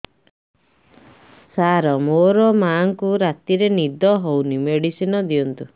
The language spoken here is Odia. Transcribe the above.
ସାର ମୋର ମାଆଙ୍କୁ ରାତିରେ ନିଦ ହଉନି ମେଡିସିନ ଦିଅନ୍ତୁ